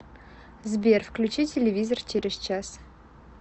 сбер включи телевизор через час